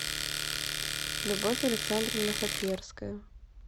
любовь александровна хаперская